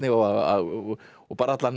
og og allan